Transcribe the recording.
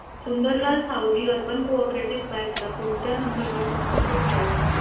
Sundarlal Savji urban co-op bank ला कोणत्या number वर संपर्क करायचा